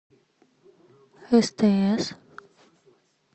стс